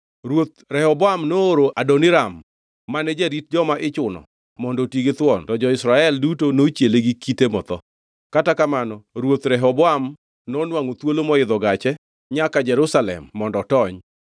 Ruoth Rehoboam nooro Adoniram mane jarit joma ichuno mondo oti githuon, to jo-Israel duto nochiele gi kite motho. Kata kamano ruoth Rehoboam nonwangʼo thuolo moidho gache nyaka Jerusalem mondo otony.